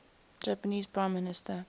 japanese prime minister